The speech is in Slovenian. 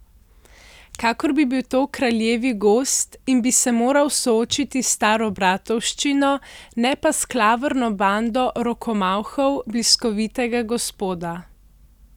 Kakor bi bil to kraljevi gozd in bi se moral soočiti s staro Bratovščino, ne pa s klavrno bando rokomavhov bliskovitega gospoda.